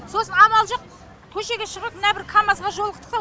сосын амал жоқ көшеге шығып мына бір камазға жолықтық ау